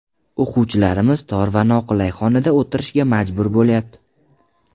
O‘quvchilarimiz tor va noqulay xonada o‘tirishga majbur bo‘lyapti.